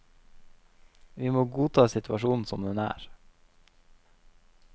Vi må godta situasjonen som den er.